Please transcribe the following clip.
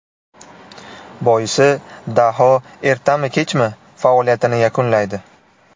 Boisi daho ertami, kechmi faoliyatini yakunlaydi.